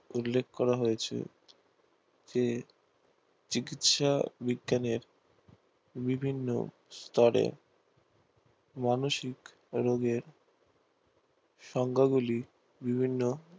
উল্লেখ করা হয়েছে যে চিকিৎসা বিজ্ঞানের বিভিন্ন স্তরে মানসিক রোগের সংজ্ঞাগুলি বিভিন্ন